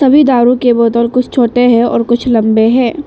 सभी दारु के बोतल कुछ छोटे हैं और कुछ लंबे हैं।